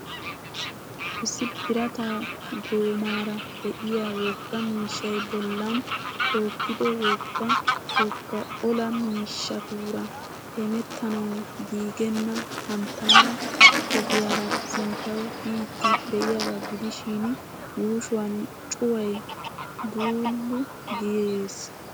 Issi birata goomaara di'iya wogga miishshay bollaan tookkido wogga wogga olaa miishatuura hemetanawu giigenna hanttaara ogiyaara sintyawu biidi diyagaa gidishiin yuushshuwan cuway buuulu gees.